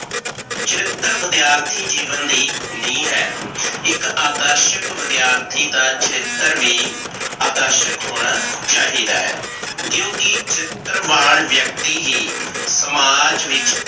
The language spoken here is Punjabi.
ਚਰਿਤਰ ਵਿਦਿਆਰਥੀ ਜੀਵਨ ਦੀ ਨੀਂਹ ਹੈ, ਇਕ ਆਦਰਸ਼ਕ ਵਿਦਿਆਰਥੀ ਦਾ ਚਰਿਤਰ ਵੀ ਆਦਰਸ਼ਕ ਹੋਣਾ ਚਾਹੀਦਾ ਹੈ, ਕਿਉਕਿ ਚਰਿਤਰਵਾਨ ਵਿਅਕਤੀ ਹੀ ਸਮਾਜ ਵਿੱਚ